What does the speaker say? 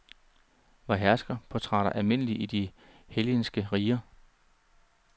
Var herskerportrætter almindelige i de hellenistiske riger?